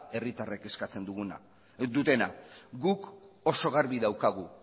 herritarren eskatzen duguna dutena guk oso garbi daukagu